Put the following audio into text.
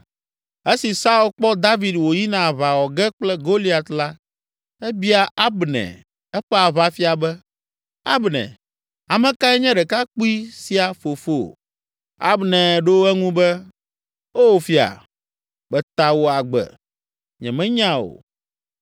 Esi Saul kpɔ David wòyina aʋa wɔ ge kple Goliat la, ebia Abner, eƒe aʋafia be, “Abner, ame kae nye ɖekakpui sia fofo?” Abner ɖo eŋu be, “O fia, meta wò agbe. Nyemenya o.”